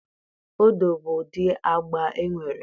Odo bụ ụdị agba e nwere.